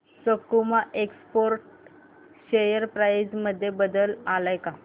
सकुमा Exports share price मध्ये बदल आलाय का